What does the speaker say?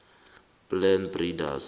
a plant breeders